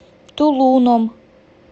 тулуном